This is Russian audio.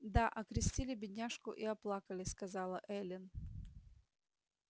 да окрестили бедняжку и оплакали сказала эллин